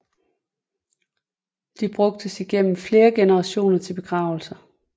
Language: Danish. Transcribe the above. De brugtes igennem flere generationer til begravelser